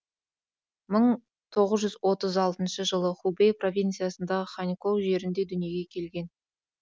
мың тоғыз жүз отыз алтыншы жылы хубэй провинциясындағы ханькоу жерінде дүниеге келген